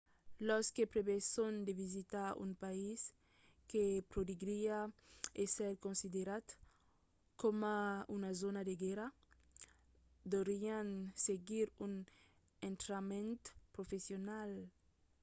los que preveson de visitar un país que podriá èsser considerat coma una zòna de guèrra deurián seguir un entrainament professional